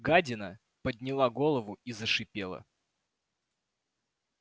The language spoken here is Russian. гадина подняла голову и зашипела